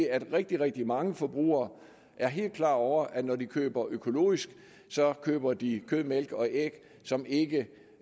at rigtig rigtig mange forbrugere er helt klar over at når de køber økologisk køber de kød mælk og æg som ikke